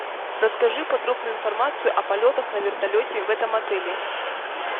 расскажи подробную информацию о полетах на вертолете в этом отеле